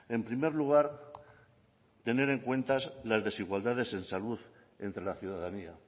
en primer lugar tener en cuenta las desigualdades en salud entre la ciudadanía